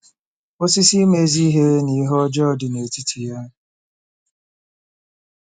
“Osisi ịma ezi ihe na ihe ọjọọ” dị n'etiti ya.